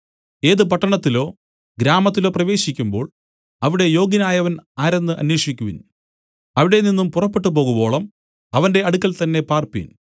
ഏത് പട്ടണത്തിലോ ഗ്രാമത്തിലോ പ്രവേശിക്കുമ്പോൾ അവിടെ യോഗ്യനായവൻ ആരെന്ന് അന്വേഷിക്കുവിൻ അവിടെനിന്നും പുറപ്പെട്ടുപോകുവോളം അവന്റെ അടുക്കൽത്തന്നെ പാർപ്പിൻ